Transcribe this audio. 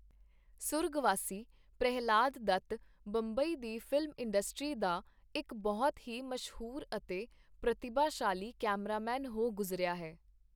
ਸੁਰਗਵਾਸੀ ਪ੍ਰਹਿਲਾਦ ਦੱਤ ਬੰਬਈ ਦੀ film industry ਦਾ ਇਕ ਬਹੁਤ ਹੀ ਮਸ਼ਹੂਰ ਅਤੇ ਪ੍ਰਤਿਭਾਸ਼ਾਲੀ ਕੈਮਰਾਮੈਨ ਹੋ ਗੁਜ਼ਰਿਆ ਹੈ.